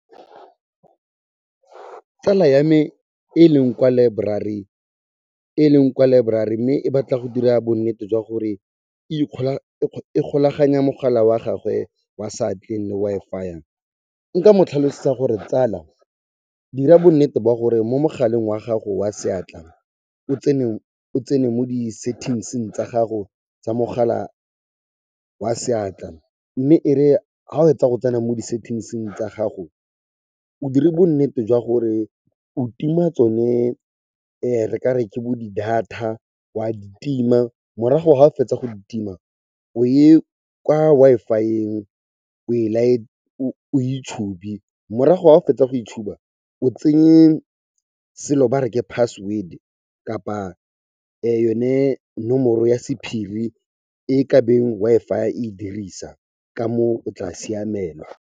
Tsala ya me e leng kwa library mme e batla go dira bonnete jwa gore e golaganya mogala wa gagwe wa seatleng le Wi-Fi-ya, nka mo tlhalosetsa gore tsala, dira bonnete ba gore mo mogaleng wa gago wa seatla o tsene mo di settings-ing tsa gago tsa mogala wa seatla, mme ere ga o fetsa go tsena mo di-settings-ing tsa gago, o dire bonnete jwa gore o tima tsone re kare ke bo di-data, wa di tima morago ga o fetsa go di tima, o ye kwa Wi-Fi-eng o e itshube morago ga o fetsa go e tshuba, o tsenye selo bare ke password kapa yone nomoro ya sephiri e kabeng Wi-Fi e e dirisa, ka moo, o tla siamelwa.